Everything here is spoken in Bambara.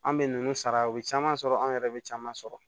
An bɛ ninnu sara o bɛ caman sɔrɔ anw yɛrɛ bɛ caman sɔrɔ